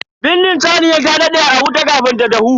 Bindin saniyar ta dade a wuta kafin ta dahu.